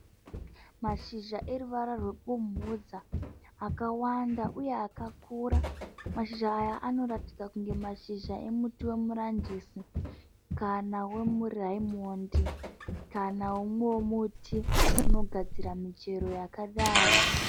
Mashizha eruvara rwebumhudza akawanda uye akakura. Mashizha aya anoratidza kunge mashizha emuti wemuranjisi kana wemuraimondi kana wemumwewo muti unogadzira michero yakadaro.